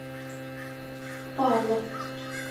павлов